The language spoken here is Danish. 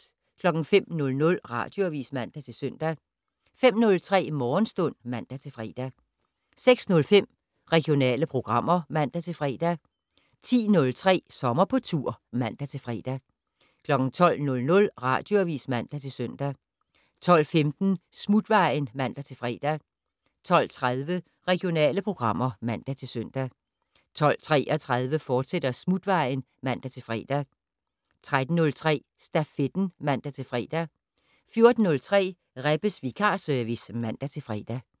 05:00: Radioavis (man-søn) 05:03: Morgenstund (man-fre) 06:05: Regionale programmer (man-fre) 10:03: Sommer på tur (man-fre) 12:00: Radioavis (man-søn) 12:15: Smutvejen (man-fre) 12:30: Regionale programmer (man-søn) 12:33: Smutvejen, fortsat (man-fre) 13:03: Stafetten (man-fre) 14:03: Rebbes vikarservice (man-fre)